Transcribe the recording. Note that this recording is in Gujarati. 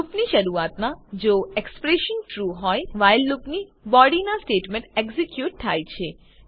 લુપ ની શરૂઆતમાં જો એક્ષપ્રેશન ટ્રૂ હોય વ્હાઇલ લુપની બોડીના સ્ટેટમેન્ટ એક્ઝીક્યુટ થાય છે